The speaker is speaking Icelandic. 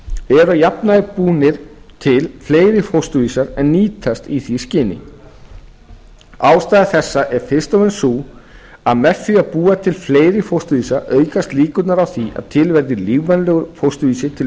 að jafnaði búnir til fleiri fósturvísar en nýtast í því skyni ástæða þessa er fyrst og fremst sú að með var að búa til fleiri fósturvísa aukast líkurnar á var að til veðri lífvænlegur fósturvísir til